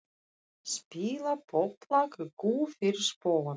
Spila popplag í kú fyrir spóann.